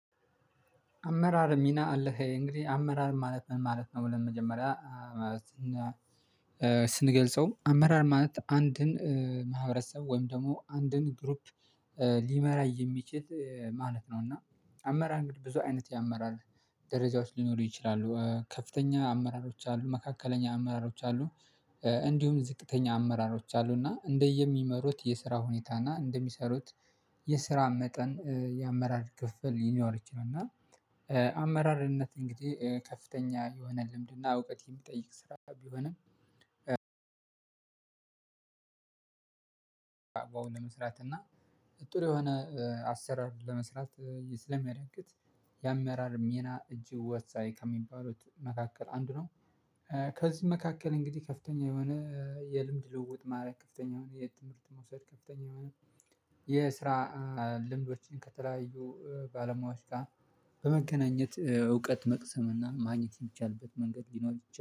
አመራር ሚና አለህ እንግዲህ አመራር ማለት ነው ማለት ነው ብለን መጀመሪያ ስንገልጸው አመራር ማለት አንድን ማህበረሰብ ወይም ደግሞ አንድን ግሩፕ ሊመራ የሚችል ማለት ነው። እና አመራር እንግዲህ ብዙ አይነት ያመራር ደረጃዎች ሊኖሩ ይችላሉ ከፍተኛ አመራሮች አሉ መካከለኛ አመራሮች አሉ እንዲሁም ዝቅተኛ አመራሮች አሉ እና እንደየሚመሩት የስራ ሁኔታና እንደሚሰሩት የስራ መጠን የአመራር ክፍፍል ሊኖር ይችላል። እና አመራርነት እንግዲህ ከፍተኛ የሆነ ልምድና እውቀት የሚጠይቅ ስራ ቢሆንም በአግባቡ ለመስራት እና ጥሩ የሆነ አሰራር ለመስራት ስለሚያደርግት የአመራር ሚና እጅግ ወሳኝ ከሚባሉት መካከል አንድ ነው። ከዚህ መካከል እንግዲህ ከፍተኛ የሆነ የልምድ ልውውጥ ማረግ ከፍተኛ የሆነ የት ትምህርት መውሰድ ከፍተኛ የሆነ የስራ ልምዶችን ከተለያዩ ባለሙያዎች ጋር በመገናኘት እውቀት መቅሰም እና ማግኘት የሚቻልበት መንገድ ሊኖር